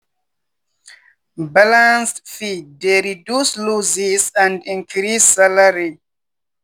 balanced feed dey reduce losses and increase salary